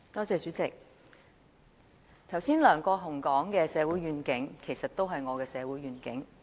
主席，梁國雄議員剛才所說的社會願景，其實亦是我的社會願景。